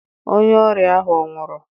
Onye ọrịa ahụ ọ̀ nwụrụ?